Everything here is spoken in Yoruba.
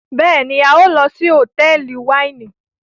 béèni a n lò sí Hotẹẹli Wáìnì.